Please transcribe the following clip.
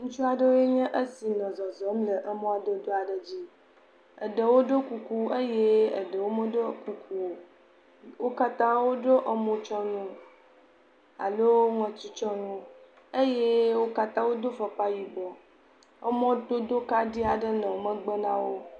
Ŋutsu aɖewoe nye esi le zɔzɔm le emɔdodo aɖe dzi. Eɖewo ɖo kuku eye eɖewo meɖɔ kuku o. Wo katã woɖɔ emotsyɔnuwo alo ŋɔtitsyɔnuwo eye wo katã wodo fɔkpa yibɔ. Emɔdodo kaɖi aɖe le megbe na wo.